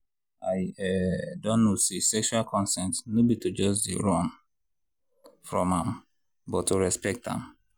i um don know say sexual consent no be to just dey run from am but to respect am.